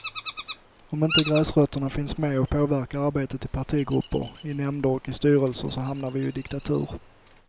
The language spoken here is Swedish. Om inte gräsrötterna finns med och påverkar arbetet i partigrupper, i nämnder och i styrelser, så hamnar vi ju i diktatur.